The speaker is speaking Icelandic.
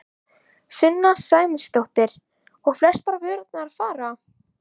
Sunna Sæmundsdóttir: Og eru flestar vörurnar að fara?